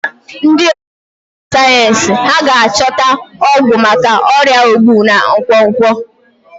Ndị ọkà mmụta sayensị hà ga-achọta ọgwụgwọ maka ọrịa ogbu na nkwonkwo?